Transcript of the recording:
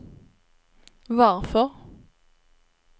varför